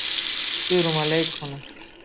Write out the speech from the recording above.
Guðrún var leikkona.